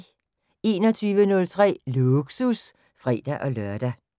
21:03: Lågsus (fre-lør)